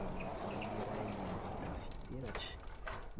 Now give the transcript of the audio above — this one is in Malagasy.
Ramatoa iray mitafy peratra.